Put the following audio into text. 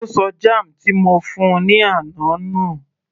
Ó ṣọ jam ti mo fún -un ní àná nù